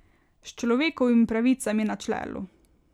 S človekovimi pravicami na čelu.